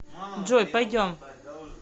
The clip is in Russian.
джой пойдем